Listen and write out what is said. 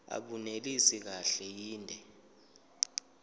abunelisi kahle inde